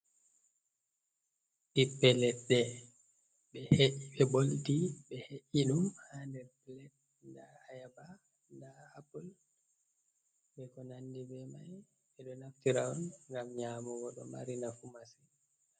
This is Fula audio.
Ɓiɓɓe leɗɗe tippe ɓe ɓoltai ɓe he’i ɗum ha nder plet, nda ayaba, nda apple, be ko nandi be mai. Ɓe ɗo naftira on ngam nyamugo ɗo mari nafu massin.